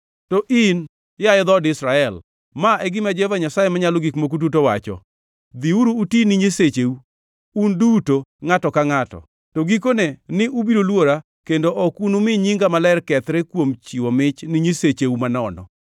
“To in, yaye dhood Israel, ma e gima Jehova Nyasaye Manyalo Gik Moko Duto wacho: Dhiuru uti ne nyisecheu, un duto ngʼato gi ngʼato! To gikone ni ubiro luora kendo ok unumi nyinga maler kethre kuom chiwo mich ni nyisecheu manono.